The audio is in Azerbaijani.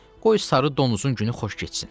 Qoy sarı donuzun günü xoş keçsin.